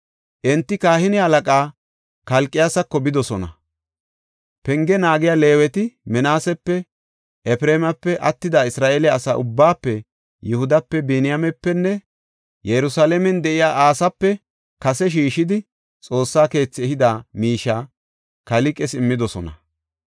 Enti kahine halaqaa Kalqiyaasako bidosona. Penge naagiya Leeweti Minaasepe, Efreemape, attida Isra7eele asaa ubbaafe Yihudape, Biniyaamepenne Yerusalaamen de7iya asaape kase shiishidi Xoossa keethi ehida miishiya Kalqes immidosona.